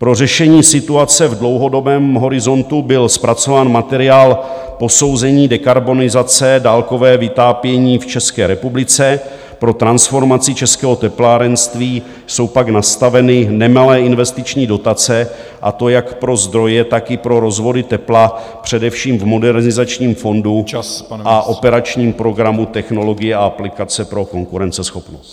Pro řešení situace v dlouhodobém horizontu byl zpracován materiál posouzení dekarbonizace dálkového vytápění v České republice, pro transformaci českého teplárenství jsou pak nastaveny nemalé investiční dotace, a to jak pro zdroje, tak i pro rozvody tepla, především v Modernizačním fondu a operačním programu Technologie a aplikace pro konkurenceschopnost.